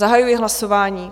Zahajuji hlasování.